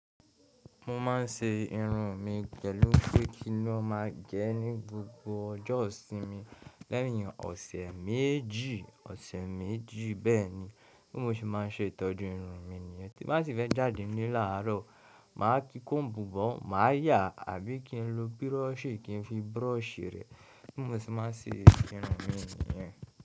Mo ma ń ṣe irun mi pẹ̀lú pé kín ló má gé ní gbogbo ọjọ́ ìsinmi lẹ́yìn ọ̀sẹ̀ méjì, ọ̀sẹ̀ méjì bẹ́ẹ̀ni. Bí mo ṣe má n ṣe ìtọ́jú irun mi nìyẹn. Tí ba ṣi fẹ́ jáde nle làárọ̀, màá tí kóombu bo, màá yà àbí kí n lo búrọ́ọ̀ṣì kí n fi búrọ́ọ̀ṣì rẹ. Bí mo ṣe má n ṣe irun mi nìyẹn.